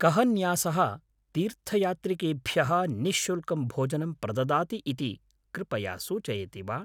कः न्यासः तीर्थयात्रिकेभ्यः निःशुल्कं भोजनं प्रददाति इति कृपया सूचयति वा?